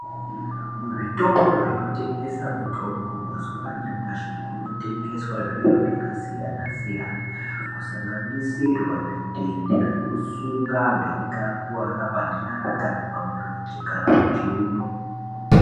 Mu zvitoro zvino tengesa mutombo mazuva anyamashi kuno tengeswa zviro zvaka siyana siyana ku sanganisirwa zvidhende zveku sunga antu eyinge akuvara panyara kana pa murenje kana muchiuno.